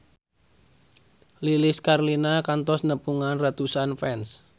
Lilis Karlina kantos nepungan ratusan fans